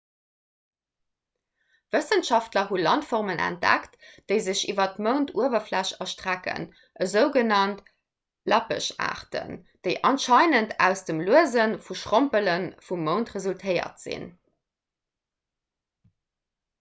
wëssenschaftler hu landformen entdeckt déi sech iwwer d'mounduewerfläch erstrecken esou genannt lappeschaarten déi anscheinend aus dem luese vum schrompele vum mound resultéiert sinn